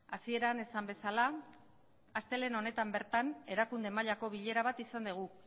hasieran esan bezala astelehen honetan bertan erakunde mailako bilera bat izan dugu